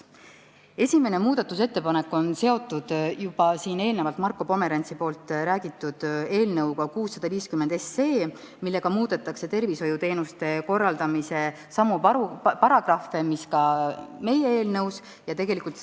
Esimene muudatusettepanek on seotud juba eelnevalt Marko Pomerantsi tutvustatud eelnõuga 650, millega muudetakse tervishoiuteenuste korraldamise seaduse samu paragrahve, mida muudetakse ka meie eelnõus.